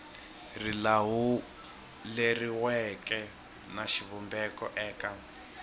ri lawuleriweke na xivumbeko eka